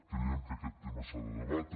creiem que aquest tema s’ha de debatre